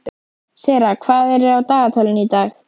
Sera, hvað er á dagatalinu í dag?